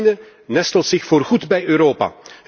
Oekraïne nestelt zich voorgoed bij Europa.